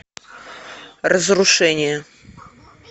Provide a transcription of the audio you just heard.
разрушение